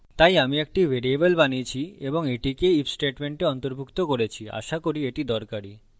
তাই আমি একটি ভ্যারিয়েবল বানিয়েছি এবং আমি এটিকে if statement অন্তর্ভুক্ত করেছি আশা করি এটি দরকারী